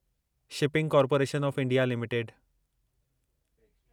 shipping corporation of India limited